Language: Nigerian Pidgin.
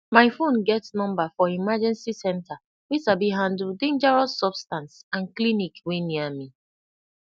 my phone get number for emergency centre wey sabi handle dangerous substance and clinic wey near me